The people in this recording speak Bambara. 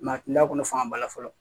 a tun t'a kɔnɔ fan ba la fɔlɔ